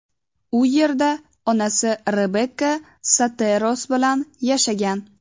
U yerda onasi Rebekka Soteros bilan yashagan.